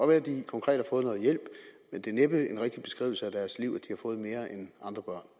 være at de konkret har fået noget hjælp men det er næppe en rigtig beskrivelse af deres liv at har fået mere end andre